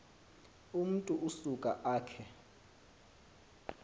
umntu usuka akhe